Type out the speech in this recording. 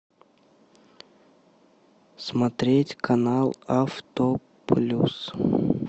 смотреть канал автоплюс